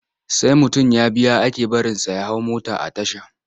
Sai mutum ya biya ake barinsa ya hau mota a tasha.